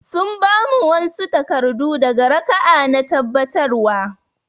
Sun ba mu wanɓsu takardu daga raka'a na tabbatarwa